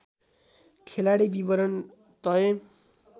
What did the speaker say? खेलाडी विवरण तय